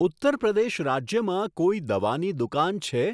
ઉત્તર પ્રદેશ રાજ્યમાં કોઈ દવાની દુકાન છે?